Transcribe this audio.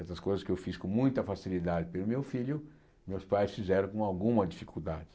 Essas coisas que eu fiz com muita facilidade pelo meu filho, meus pais fizeram com alguma dificuldade.